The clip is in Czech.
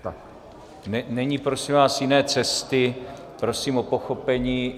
Není prosím vás jiné cesty, prosím o pochopení.